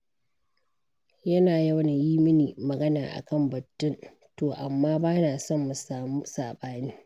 Yana yawan yi mini magana a kan batun, to amma ba na son mu samu saɓani.